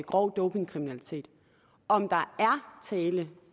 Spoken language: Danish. grov dopingkriminalitet om der er tale